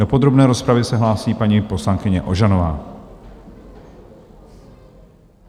Do podrobné rozpravy se hlásí paní poslankyně Ožanová.